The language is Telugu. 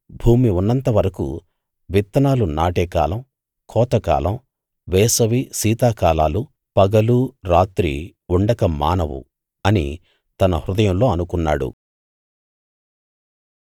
భూమి ఉన్నంత వరకూ విత్తనాలు నాటేకాలం కోతకాలం వేసవి శీతాకాలాలు పగలూ రాత్రీ ఉండక మానవు అని తన హృదయంలో అనుకున్నాడు